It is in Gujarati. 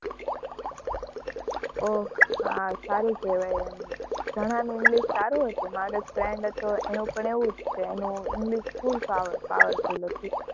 ઓહ! હા, સારું કે'વાય એમ, ઘણાનું english સારું હતું, મારે એક friend હતો, એનું પણ એવું જ છે, એનું english full powerful હતું.